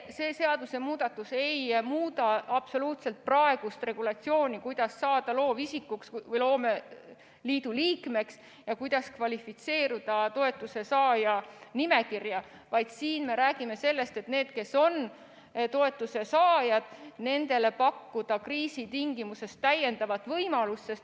See seadusemuudatus ei muuda absoluutselt praegust regulatsiooni, kuidas saada loovisikuks või loomeliidu liikmeks ja kuidas kvalifitseeruda toetuse saajate nimekirja, vaid siin me räägime sellest, et nendele, kes on toetuse saajad, pakkuda kriisi tingimustes täiendavat võimalust.